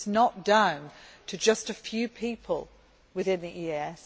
but it is not down to just a few people within the EAS.